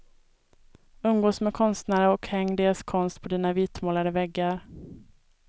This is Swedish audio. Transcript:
Umgås med konstnärer och häng deras konst på dina vitmålade väggar.